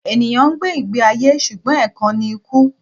Ènìyàn ń gbé ìgbé ayé ṣùgbọ́n ẹ̀kan ni kú